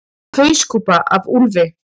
Hauskúpa af úlfi.